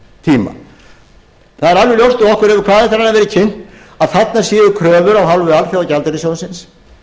það er alveg ljóst að okkur hefur hvað eftir annað verið kynnt að þarna séu kröfur af hálfu alþjóðagjaldeyrissjóðsins